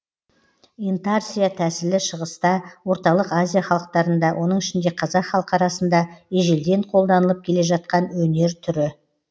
интарсия тәсілі шығыста орталық азия халықтарында оның ішінде қазақ халқы арасында ежелден қолданылып келе жатқан өнер түрі